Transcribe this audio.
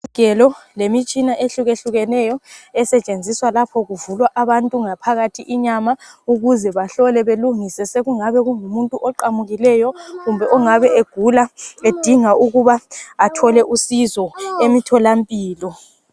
Izigelo lemitshina ehlukehlukeneyo esetshenziswa lapho kuvulwa abantu ngaphakathi inyama ukuze bahlole balungise. Sekungabe kungumuntu oqamukileyo kumbe ongabe egula edinga ukuba athole usizo emtholampilo